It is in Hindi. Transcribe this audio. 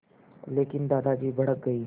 लेकिन दादाजी भड़क गए